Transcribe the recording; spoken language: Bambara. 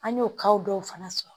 An y'o ka dɔw fana sɔrɔ